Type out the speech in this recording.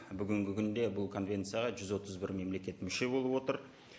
бүгінгі күнде бұл конвенцияға жүз отыз бір мемлекет мүше болып отыр